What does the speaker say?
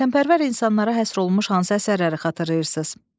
Vətənpərvər insanlara həsr olunmuş hansı əsərləri xatırlayırsız?